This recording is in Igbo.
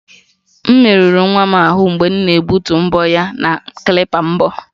M merụrụ nwa m ahụ mgbe m na-egbutu mbọ ya na klipa mbọ